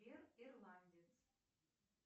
сбер ирландец